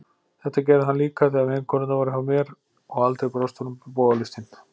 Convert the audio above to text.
Þetta gerði hann líka þegar vinkonurnar voru hjá mér, og honum brást aldrei bogalistin.